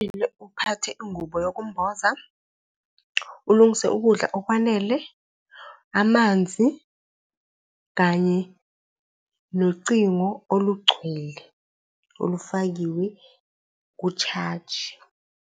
Kumele uphathe ingubo yokumboza, ulungise ukudla okwanele, amanzi kanye nocingo olugcwele olufakiwe kushaji.